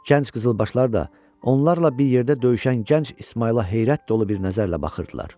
Gənc qızılbaşlar da onlarla bir yerdə döyüşən gənc İsmayıla heyrət dolu bir nəzərlə baxırdılar.